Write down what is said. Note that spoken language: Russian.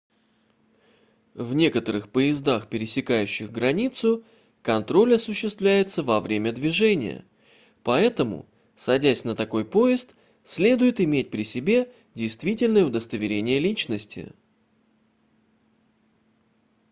в некоторых поездах пересекающих границу контроль осуществляется во время движения поэтому садясь на такой поезд следует иметь при себе действительное удостоверение личности